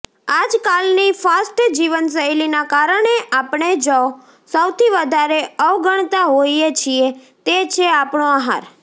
આજકાલની ફાસ્ટ જીવનશૈલીના કારણે આપણે જો સૌથી વધારે અવગણતા હોઈએ છીએ તે છે આપણો આહાર